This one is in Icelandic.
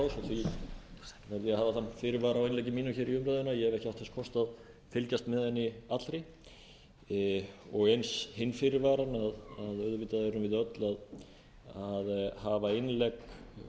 að ég hef ekki átt þess kost að fylgjast með henni allri og eins hinn fyrirvarann að auðvitað erum við öll að hafa innlegg